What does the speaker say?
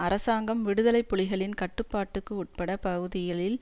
அரசாங்கம் விடுதலை புலிகளின் கட்டுப்பாட்டுக்கு உட்பட பகுதிகளில்